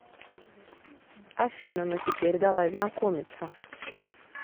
афина ну теперь давай знакомиться